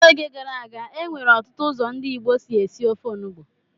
N'oge gara aga, e nwere ọtụtụ ụzọ ndị Igbo si esi ofe onugbu.